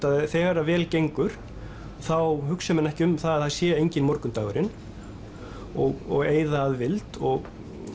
að þegar vel gengur þá hugsi menn ekki um það að það sé enginn morgundagurinn og eyða að vild og